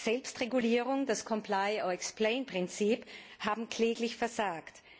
Selbstregulierung und das comply or explain Prinzip haben kläglich versagt.